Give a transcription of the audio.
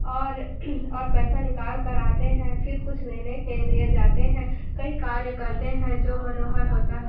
और पैसा निकाल कर आते है फिर कुछ लेने के लिए जाते है कई कार्य करते है जो मनोहर होते है।